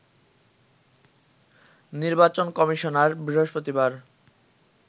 নির্বাচন কমিশনার বৃহস্পতিবার